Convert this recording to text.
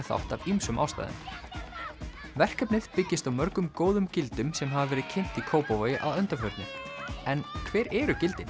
þátt af ýmsum ástæðum verkefnið byggist á mörgum góðum gildum sem hafa verið kynnt í Kópavogi að undanförnu en hver eru gildin